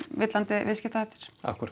villandi viðskiptahættir